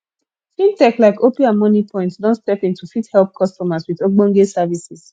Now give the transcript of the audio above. fintech like opay and moniepoint don step in to fit help customers with ogbonge services